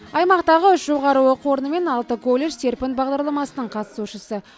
аймақтағы үш жоғары оқу орны және алты колледж серпін бағдарламасының қатысушысы